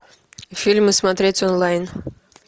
фильмы смотреть онлайн